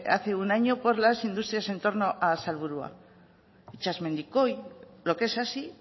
hace un año por las industrias entorno a salburua itsasmendikoi lo que es así